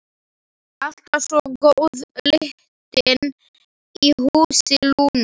Alltaf svo góð lyktin í húsi Lúnu.